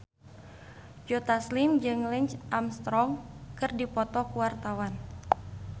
Joe Taslim jeung Lance Armstrong keur dipoto ku wartawan